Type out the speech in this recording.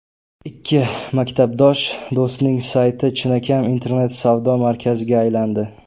Ikki maktabdosh do‘stning sayti chinakam internet-savdo markaziga aylandi.